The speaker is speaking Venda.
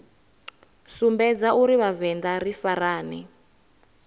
sumbedza uri vhavenḓa ri farane